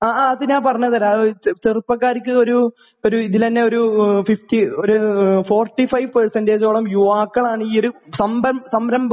ആഹ് അത് ഞാൻ പറഞ്ഞുതരാം . ചെറുപ്പക്കാർക്ക് ഇതിൽ ഒരു ഫിഫ്റ്റി ഒരു ഫോർട്ടി ഫൈവ് പെർസെന്റജ് ഓളം യുവാക്കളാണ് ഈ ഒരു സംരംഭം